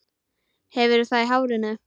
Hefur það í hárinu.